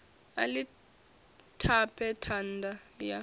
a ḽi tape thanda ya